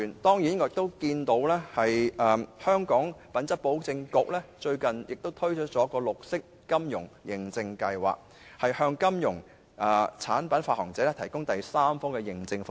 我留意到香港品質保證局最近推出了綠色金融認證計劃，向金融產品發行者提供第三方認證服務。